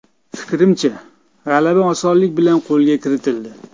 Fikrimcha, g‘alaba osonlik bilan qo‘lga kiritildi.